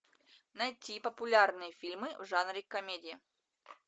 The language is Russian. найти популярные фильмы в жанре комедия